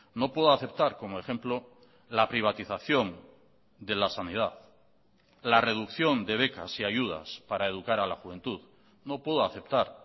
no puedo aceptar como ejemplo la privatización de la sanidad la reducción de becas y ayudas para educar a la juventud no puedo aceptar